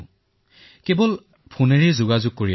কোনোবা ভোকত থাকিলে তেওঁক খাদ্য প্ৰদান কৰক